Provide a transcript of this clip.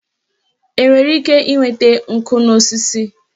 Enwere ike ịnweta nkụ n'osisi?